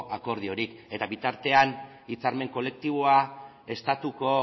akordiorik eta bitartean hitzarmen kolektiboa estatuko